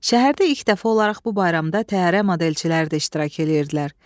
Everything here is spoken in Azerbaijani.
Şəhərdə ilk dəfə olaraq bu bayramda təyyarə modelçilər də iştirak edirdilər.